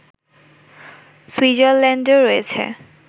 সুইজারল্যান্ডও রয়েছে